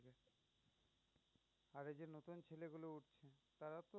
আর এই যে নতুন ছেলেগুলো উঠছে তারাও তো